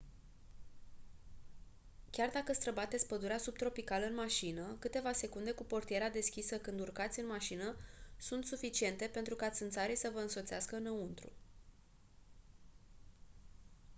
chiar dacă străbateți pădurea subtropicală în mașină câteva secunde cu portiera deschisă când urcați în mașină sunt suficiente pentru ca țânțarii să vă însoțească înăuntru